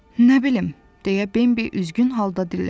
Nə bilim, deyə Bembi üzgün halda dilləndi.